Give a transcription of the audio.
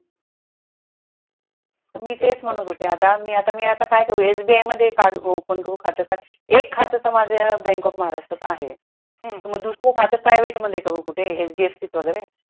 मी तेच म्हणत होते आता, मी आता मी आता काय करू SBI मध्ये open करू खात का एक खात तर माझ bank of महाराष्ट्रात आहे तर मग दुसर खात private मध्ये करू कुठे HDFC त वगरे?